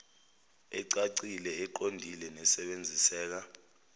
ecacile eqondile nesebenziseka